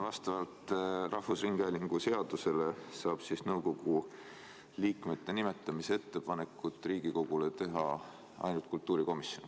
Vastavalt rahvusringhäälingu seadusele saab nõukogu liikmete nimetamise ettepaneku teha Riigikogule ainult kultuurikomisjon.